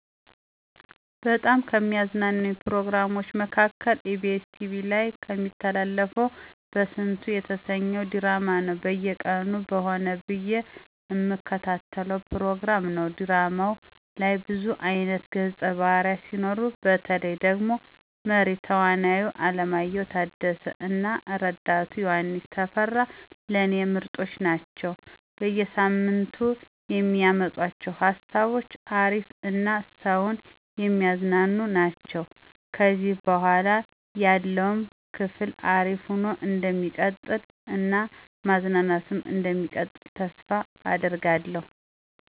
በጣም ከሚያዝናኑኝ ፕሮግራሞች መካከል ebs ቲቪ ላይ እሚተላለፈው በስንቱ የተሰኘው ድራማ ነው። በየቀኑ በሆነ ብዬ እምከታተለው ፕሮግራም ነው። ድራማው ላይ ብዙ አይነት ገፀ ባህርያት ሲኖሩ፤ በተለይ ደግሞ መሪ ተዋናዩ አለማየሁ ታደሰ እና ረዳቱ ዮሐንስ ተፈራ ለኔ ምርጦች ናቸው። በየ ሳምንቱ የሚያመጡአቸው ሃሳቦች አሪፍ እና ሰውን የሚያዝናኑ ናቸው። ከዚህ በኃላ ያለውም ክፍል አሪፍ ሆኖ እንደሚቀጥል እና ማዝናናቱም እንደሚቀጥል ተስፋ አደርጋለሁ።